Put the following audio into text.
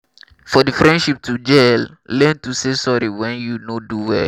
for the friendship to gel learn to say sorry when you no do well